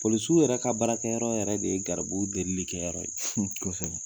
Polisiw yɛrɛ ka baarakɛyɔrɔ yɛrɛ de ye garibu delili kɛ yɔrɔ ye